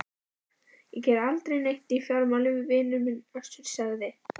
Ég geri aldrei neitt í fjármálum vinur minn Össur, sagði